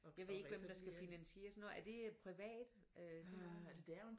Jeg ved ikke hvem der skal finansiere sådan noget er det privat øh sådan noget?